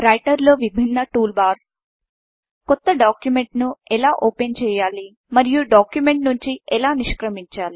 రైటర్లో విభిన్న టూల్బార్స్ కొత్త డాక్యుమెంట్ను ఎలా ఓపెన్ చేయాలి మరియు డాక్యుమెంట్ నుంచి ఎలా నిష్క్రమించాలి